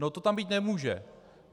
No to tam být nemůže.